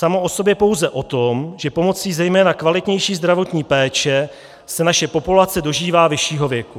Samo o sobě pouze o tom, že pomocí zejména kvalitnější zdravotní péče se naše populace dožívá vyššího věku.